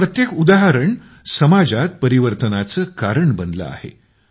असे प्रत्येक उदाहरण समाजात परिवर्तनाचे कारण बनले आहे